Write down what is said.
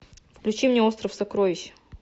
включи мне остров сокровищ